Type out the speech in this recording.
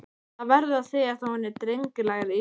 Það verður að segjast að hún er drengilegri íþrótt.